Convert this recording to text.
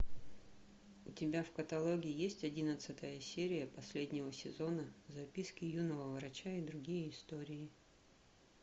у тебя в каталоге есть одиннадцатая серия последнего сезона записки юного врача и другие истории